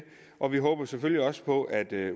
og vi håber selvfølgelig også på at